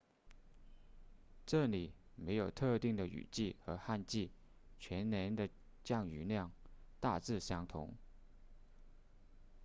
这里没有特定的雨季和旱季全年的降雨量大致相同